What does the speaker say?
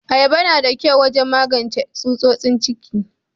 Ayaba na da kyau wajen magance tsutsotsin ciki.